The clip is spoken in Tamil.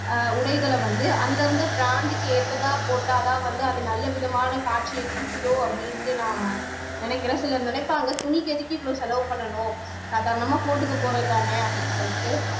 ஆஹ் உடைகளை வந்து அந்தந்த brand க்கு ஏத்ததா போட்டாதான் வந்து அது நல்ல விதமான காட்சியை குடுக்குதோ அப்படின்னுட்டு நான் நினைக்கிறேன் சிலர் நினைப்பாங்க துணிக்கு எதுக்கு இவ்வளவு செலவு பண்ணணும் சாதாரணமா போட்டுக்க போறதுதானே அப்படின்னு சொல்லிட்டு